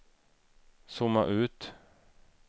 zooma ut